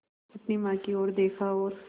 अपनी माँ की ओर देखा और